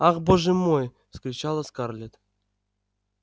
ах боже мой вскричала скарлетт